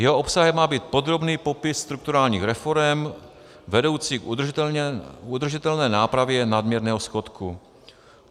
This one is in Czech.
Jeho obsahem má být podrobný popis strukturálních reforem vedoucích k udržitelné nápravě nadměrného schodku.